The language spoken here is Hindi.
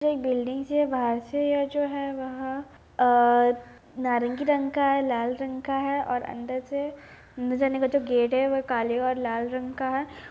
एक बिल्डिंग सी है बाहर से ये जो है वह अ नारंगी रंग का है लाल रंग का है और अंदर से अन्दर जाने का जो गेट है वह काले और लाल रंग का है।